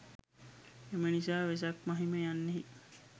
එම නිසා වෙසක් මහිම යන්නෙහි